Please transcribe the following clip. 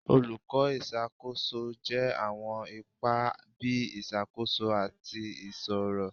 Olukọ iṣakoso jẹ awọn apa bii Isakoso ati Iṣiro